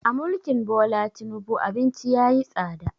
A mulkin Bola Tinubu abinci yayi tsada